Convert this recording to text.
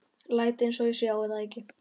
Læt einsog ég sjái það ekki.